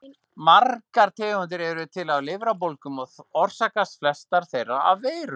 Margar tegundir eru til af lifrarbólgum og orsakast flestar þeirra af veirum.